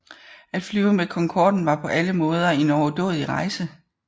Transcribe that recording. At flyve med Concorden var på alle måder en overdådig rejse